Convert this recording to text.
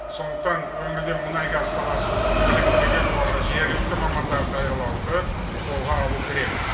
сондықтан өңірде мұнай газ саласы үшін біліктілігі жоғары жергілікті мамандар даярлауды қолға алу керек